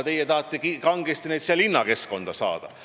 Teie tahate neid kangesti linnakeskkonda saada.